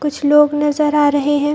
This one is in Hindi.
कुछ लोग नजर आ रहें हैं।